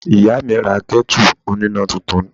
Ìyá mi ra ketu oníná túntún.